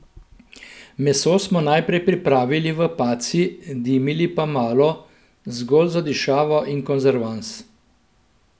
Meso smo najprej pripravili v paci, dimili pa malo, zgolj za dišavo in konzervans.